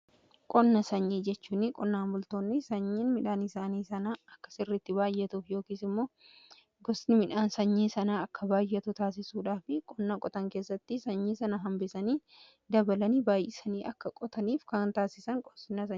Qonna sanyii jechuun qonnaa multoonni sanyiin midhaan isaanii sanaa akka sirritti baay'atuuf yookiis immoo gosni midhaan sanyii sanaa akka baayyatu taasisuudhaaf qonnaa qotan keessatti sanyii sana hambisanii dabalanii baay'isanii akka qotaniif kan taasisa.